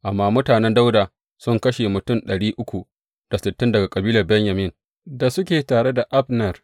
Amma mutanen Dawuda sun kashe mutum ɗari uku da sittin daga kabilar Benyamin da suke tare da Abner.